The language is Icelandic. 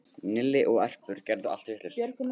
Nilli og Erpur gerðu allt vitlaust